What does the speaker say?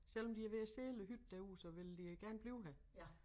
Selvom de er ved at sælge æ hytte derude så vil de gerne blive her